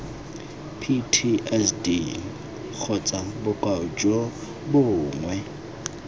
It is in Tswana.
ptsd kgotsa bokoa jo bongwe